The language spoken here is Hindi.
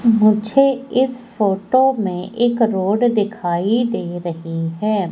मुझे इस फोटो में एक रोड दिखाई दे रही है।